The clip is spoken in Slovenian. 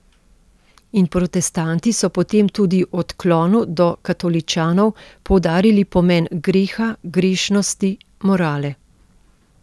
In protestanti so potem tudi v odklonu do katoličanov poudarili pomen greha, grešnosti, morale.